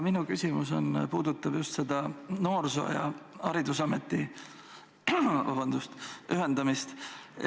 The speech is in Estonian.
Minu küsimus puudutab noorsoo- ja haridusameti ühendamist.